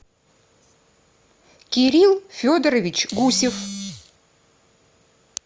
кирилл федорович гусев